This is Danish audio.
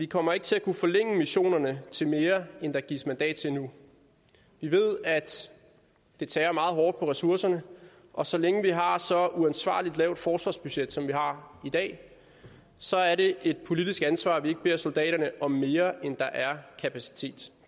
kommer til at kunne forlænge missionerne til mere end der gives mandat til nu vi ved at det tærer meget hårdt på ressourcerne og så længe vi har et så uansvarligt lavt forsvarsbudget som vi har i dag så er det et politisk ansvar at vi ikke beder soldaterne om mere end der er kapacitet